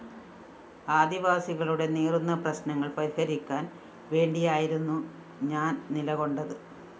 ആദിവാസികളുടെ നീറുന്ന പ്രശ്‌നങ്ങള്‍ പരിഹരിക്കാന്‍ വേണ്ടിയായിരുന്നു ഞാന്‍ നിലകൊണ്ടത്